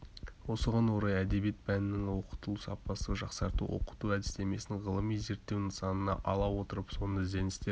осыған орай әдебиет пәнінің оқытылу сапасын жақсарту оқыту әдістемесін ғылыми зерттеу нысанына ала отырып соны ізденістер